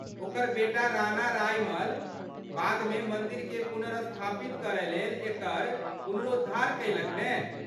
ओकर बेटा राणा रायमल, बादमे मन्दिरकेँ पुनर्स्थापित करयलेल एकर पुनरोद्धार कयलक ने?